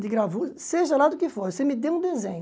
de gravura, seja lá do que for, você me dê um desenho.